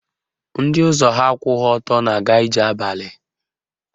Ndị ụzọ ha akwụghị ọtọ na-aga ije abalị